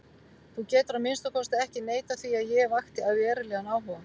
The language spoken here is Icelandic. Þú getur að minnsta kosti ekki neitað því að ég vakti verulegan áhuga.